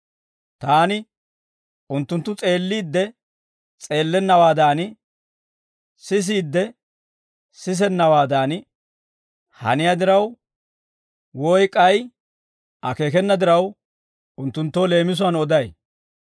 Taani unttunttu s'eelliidde s'eellennawaadan, sisiide sisennawaadan haniyaa diraw, woy k'ay akeekena diraw unttunttoo leemisuwaan oday.